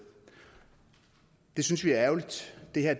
det synes vi er ærgerligt det her